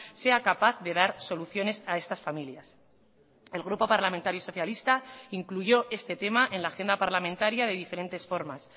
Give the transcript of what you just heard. sea capaz de dar soluciones a estas familias el grupo parlamentario socialista incluyó este tema en la agenda parlamentaria de diferentes formas